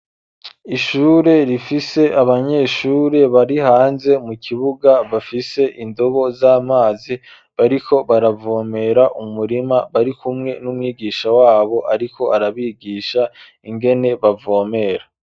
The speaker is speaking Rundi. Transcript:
Ishure, rifise abanyeshure, bari hanze, mu kibuga, bafise indobo, z'amazi, bariko baravomera, umurima; bari kumwe, n'umwigisha wabo, ariko arabigisha, ingene, bavomera.